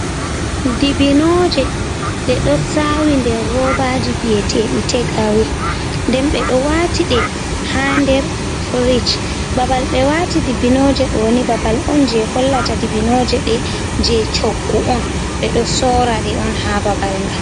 Dibbinooje , ɓe ɗo saawi nder robaaji jey tek awe. Nden ɓe ɗo waati ɗi haa nder fiiric. Babal ɓe waati dibbinooje ɗoni babal on jey hollata dibbinooje ɗe, jey coggu on. Ɓe ɗo sora ɗe on, haa babal ngal.